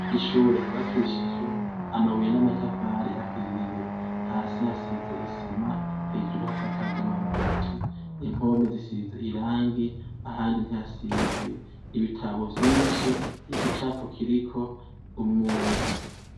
Ishure gibakishijwe amabuye n'amatafari ahiye hasi hasize isima hejuru hasakaje amabati impomi zisize irangi ahandi ntihasize ibitabo vyinshi igica pukiriko umuntu.